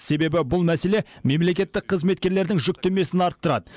себебі бұл мәселе мемлекеттік қызметкерлердің жүктемесін арттырады